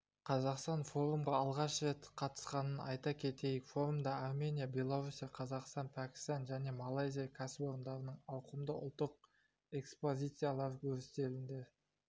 қазақстан форумға алғаш рет қатысқанын айта кетейік форумда армения белоруссия қазақстан пәкістан және малайзия кәсіпорындарының ауқымды ұлттық экспозициялары өрістетілді